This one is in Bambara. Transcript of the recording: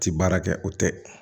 Ti baara kɛ o tɛ